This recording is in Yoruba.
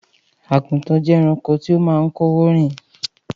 Àgùntàn jẹ́ ẹranko tó máa ń kọ́wọ̀ọ́ rìn